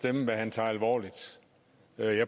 er meget alvorlig